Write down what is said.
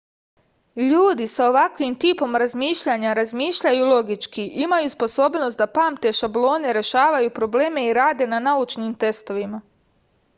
ljudi sa ovakvim tipom razmišljanja razmišljaju logički imaju sposobnost da pamte šablone rešavaju probleme i rade na naučnim testovima